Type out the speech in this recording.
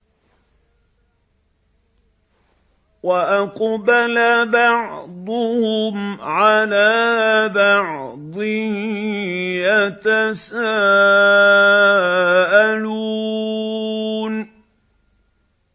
وَأَقْبَلَ بَعْضُهُمْ عَلَىٰ بَعْضٍ يَتَسَاءَلُونَ